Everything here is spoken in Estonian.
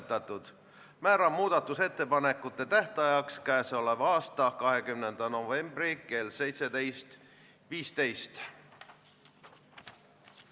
Peale seda saame teha oma muudatusettepanekuid ja tuleme teisele lugemisele tagasi siis, kui on õige aeg.